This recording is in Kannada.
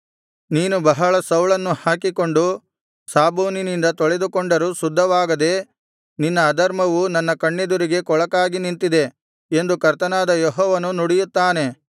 ನೀನು ಬಹಳ ಸೌಳನ್ನು ಹಾಕಿಕೊಂಡು ಸಾಬೂನಿನಿಂದ ತೊಳೆದುಕೊಂಡರೂ ಶುದ್ಧವಾಗದೆ ನಿನ್ನ ಅಧರ್ಮವು ನನ್ನ ಕಣ್ಣೆದುರಿಗೆ ಕೊಳಕಾಗಿ ನಿಂತಿದೆ ಎಂದು ಕರ್ತನಾದ ಯೆಹೋವನು ನುಡಿಯುತ್ತಾನೆ